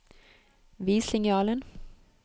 Vis linjalen